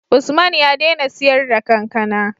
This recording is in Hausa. Usman ya dena siyar da kankAna